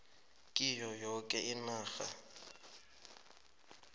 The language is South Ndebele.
kiyo yoke inarha